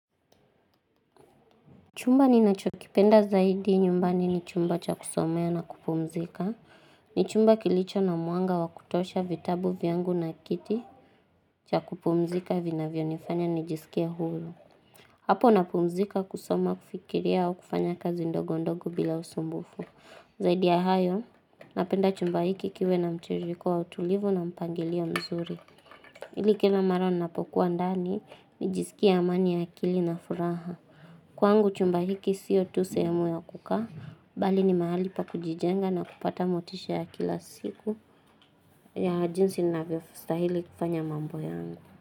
Chumba ninacho kipenda zaidi nyumbani ni chumba cha kusomea na kupumzika. Ni chumba kilicho na mwanga wa kutosha vitabu vyangu na kiti cha kupumzika vinavyo nifanya nijisikie huru. Hapo napumzika kusoma, kufikiria au kufanya kazi ndogo ndogo bila usumbufu. Zaidi ya hayo, napenda chumba hiki kiwe na mtiririko wa utulivu na mpangilio mzuri. Ili kila mara ninapokuwa ndani, nijisikie amani ya akili na furaha. Kwangu chumba hiki sio tu sehemu ya kukaa, bali ni mahali pa kujijenga na kupata motisha ya kila siku ya jinsi ninavyo stahili kufanya mambo yangu.